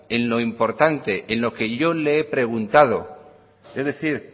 en lo importante en lo que yo le he preguntado es decir